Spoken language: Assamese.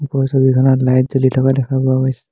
ওপৰৰ ছবিখনত লাইট জ্বলি থকা দেখা পোৱা গৈছে।